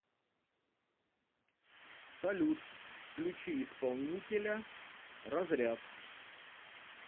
салют включи исполнителя разряд